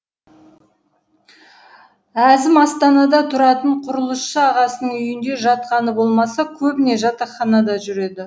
әзім астанада тұратын құрылысшы ағасының үйінде жатқаны болмаса көбіне жатақханада жүреді